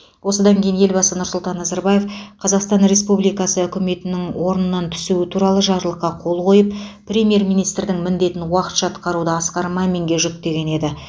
осыдан кейін елбасы нұрсұлтан назарбаев қазақстан республикасы үкіметінің орнынан түсуі туралы жарлыққа қол қойып премьер министрдің міндетін уақытша атқаруды асқар маминге жүктеген еді